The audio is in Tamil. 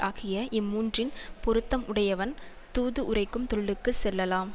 ஆகிய இம் மூன்றின் பொருத்தம் உடையவன் தூது உரைக்கும் தொழிலுக்குச் செல்லலாம்